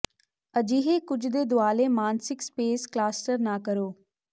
ਅਜਿਹੇ ਕੁਝ ਦੇ ਦੁਆਲੇ ਮਾਨਸਿਕ ਸਪੇਸ ਕਲਾਸਟਰ ਨਾ ਕਰੋ